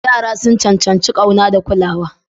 Yara sun cancanci ƙauna da kulawa.